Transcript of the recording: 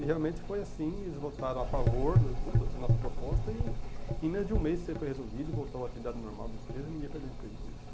E realmente foi assim, eles votaram a favor da da da nossa proposta e em menos de um mês isso foi resolvido, voltou a atividade normal da empresa e ninguém perdeu emprego por isso.